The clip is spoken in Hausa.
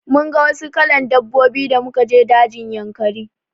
Mun ga wasu kalan dabbobi da muka je dajin Yankari.